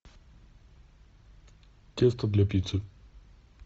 тесто для пиццы